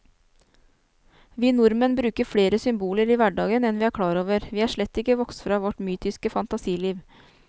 Vi nordmenn bruker flere symboler i hverdagen enn vi er klar over, vi er slett ikke vokst fra vårt mytiske fantasiliv.